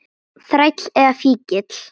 Þræll eða fíkill.